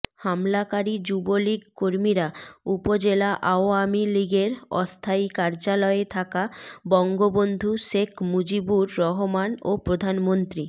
হামলাকারী যুবলীগ কর্মীরা উপজেলা আওয়ামী লীগের অস্থায়ী কার্যালয়ে থাকা বঙ্গবন্ধু শেখ মুজিবুর রহমান ও প্রধানমন্ত্রী